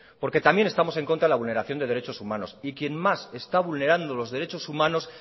porque también estamos en contra de la vulneración de derechos humanos y quien más está vulnerando los derechos humanos